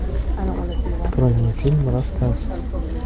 открой мне фильм рассказ